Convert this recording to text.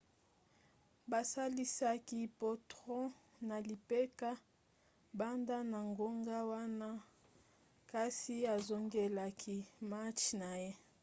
basalisaki potro na lipeka banda na ngonga wana kasi azongelaki match na ye